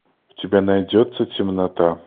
у тебя найдется темнота